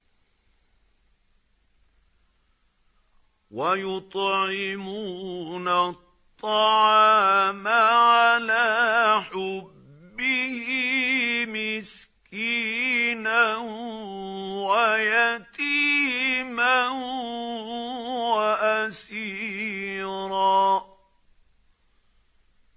وَيُطْعِمُونَ الطَّعَامَ عَلَىٰ حُبِّهِ مِسْكِينًا وَيَتِيمًا وَأَسِيرًا